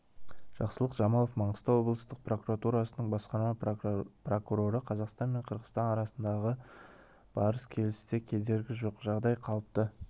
жақсылық жамалов маңғыстау облыстық прокуратурасының басқарма прокуроры қазақстан пен қырғызстан арасындағы барыс-келісте кедергі жоқ жағдай қалыпты